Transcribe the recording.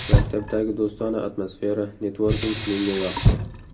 Maktabdagi do‘stona atmosfera, networking menga yoqdi.